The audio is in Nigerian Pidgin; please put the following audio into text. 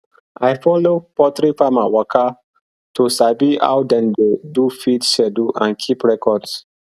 i follow poultry farmer waka to sabi how dem dey do feed schedule and keep records